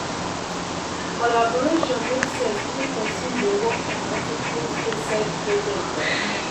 collaboration make sense when person dey work on multi faceted project um